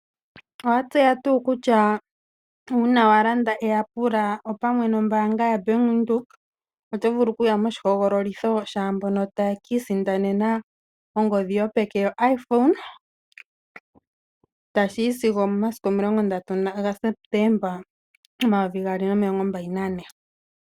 Owatseya tuu kutya uuna walanda eyapula opamwe nombaanga yoBank Windhoek, otovulu okuya moshihoogololitho shaambono taye kiisindanena ongodhi yopeke yo Iphone, tashiyi sigo omomasiku omilongo ndatu gaSeptemba omayovi omilongo mbali nane.